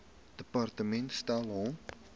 departement stel hom